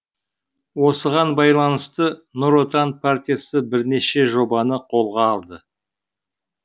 осыған байланысты нұр отан партиясы бірнеше жобаны қолға алды